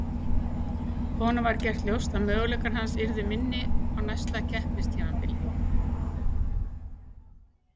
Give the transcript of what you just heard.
Honum var gert ljóst að möguleikar hans yrðu minni á næsta keppnistímabili.